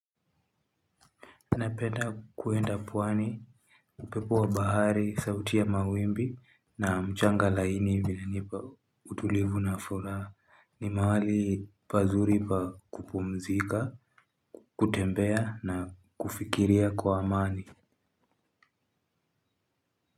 Napenda kienda pwani upepo wa bahari sauti ya mawimbi na mchanga laini inanipa utulivu na furaha ni mahali pazuri pa kupumzika kutembea na kufikiria kwa amani.